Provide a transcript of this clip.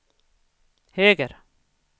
höger